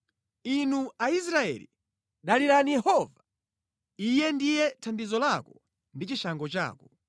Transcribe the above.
Inu Aisraeli, dalirani Yehova; Iye ndiye thandizo lanu ndi chishango chanu.